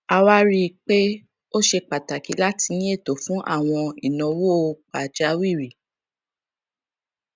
a wá rí i pé ó ṣe pàtàkì láti ní ètò fún àwọn ìnáwó pàjáwìrì